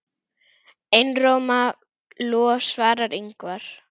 Einróma lof svarar Ingvar.